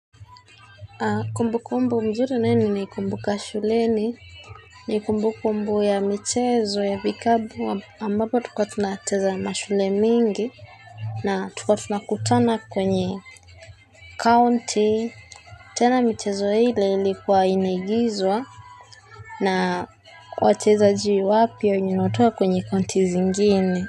Kumbukumbu nzuri naye ninaikumbuka shuleni ni kumbukumbu ya michezo ya vikapu ambapo tulikuwa tunacheza na shule mingi na tulikuwa tunakutana kwenye kaunti tena michezo ile ilikuwa imeigizwa na wachezaji wapya wenye wanatoka kwenye county zingine.